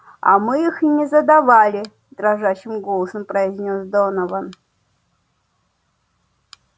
а мы их не задавали дрожащим голосом произнёс донован